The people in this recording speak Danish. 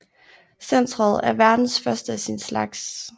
Centret er verdens første af sin slags